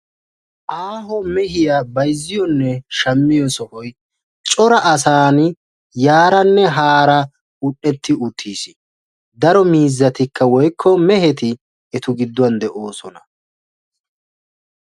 Aaho mehiya bayzziyonne shammiyo sohoy cora asaan yaaranne haara un''etti uttiis. Daro miizzatikka woykko meheti etu giddon de'oosona.